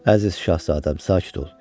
Əziz şahzadəm, sakit ol.